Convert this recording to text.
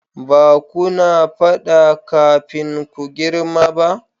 ba kuna fada kafin ku girma ba?